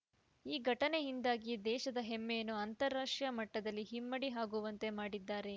ಈ ಘಟನೆಯಿಂದ ದೇಶದ ಹೆಮ್ಮೆಯನ್ನು ಅಂತಾರಾಷ್ಟ್ರೀಯ ಮಟ್ಟದಲ್ಲಿ ಇಮ್ಮಡಿ ಆಗುವಂತೆ ಮಾಡಿದ್ದಾರೆ